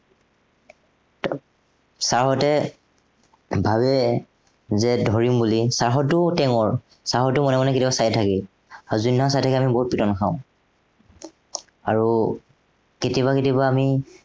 sir হঁতে, ভাবে যে ধৰিম বুলি, sir হঁতো টেঙৰ। sir হঁতেও মনে মনে কেতিয়াবা চাই থাকে। আৰু যোনদিনা চাই থাকে আমি বহুত পিটন খাওঁ। আৰু কেতিয়াবা কেতিয়াবা আমি